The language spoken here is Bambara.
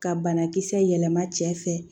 Ka banakisɛ yɛlɛma cɛ fɛ